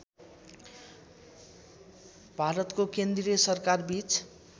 भारतको केन्द्रीय सरकारबीच